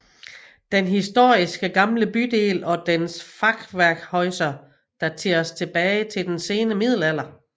Den historiske gamle bydel og dens Fachwerkhäuser dateres tilbage til den sene middelalder